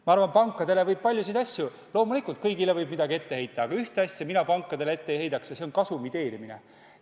Ma arvan, et pankadele võib ette heita paljusid asju – loomulikult, kõigile võib midagi ette heita –, aga ühte asja mina pankadele küll ette ei heidaks ja see on kasumi teenimine.